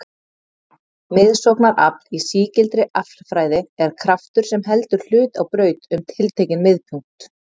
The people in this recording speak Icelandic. Miðsóknarafl í sígildri aflfræði er kraftur sem heldur hlut á braut um tiltekinn miðpunkt.